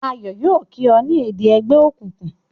Ayo yóò kí o ni èdè ègbé òkùnkùn